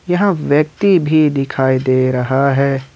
यहां व्यक्ति भी दिखाई दे रहा है।